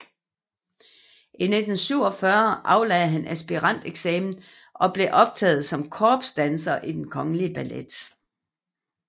I 1947 aflagde han aspiranteksamen og blev optaget som korpsdanser i Den Kongelige Ballet